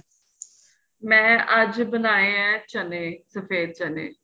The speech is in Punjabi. ਮੈਂ ਅੱਜ ਬਨਾਏ ਏ ਚੰਨੇ ਸਫ਼ੇਦ ਚੰਨੇ